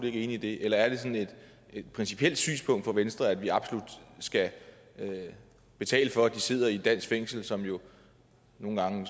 ikke enig i det eller er det sådan et principielt synspunkt for venstre at vi absolut skal betale for at de sidder i et dansk fængsel som jo nogle gange